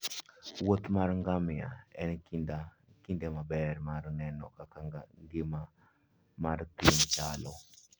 Wuoth ngamia en kinde maber mar neno kaka ngima mar thim chalo.